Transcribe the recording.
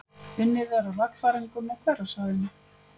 Unnið er að lagfæringum á hverasvæðinu